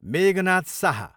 Meghnad Sah